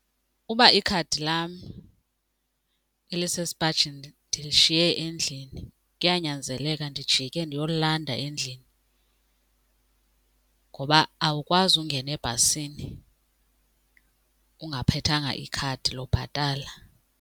Uba ikhadi lam elisesipajini ndilishiye endlini kuyanyanzeleka ndijike ndiyolilanda endlini ngoba awukwazi ungena ebhasini ungaphethanga ikhadi lokubhatala.